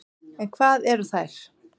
En hvað eru þær?